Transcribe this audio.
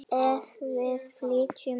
Ef við flytjum á